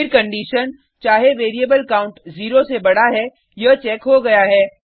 फिर कंडिशन चाहे variable count zero से बडा है यह चेक हो गया है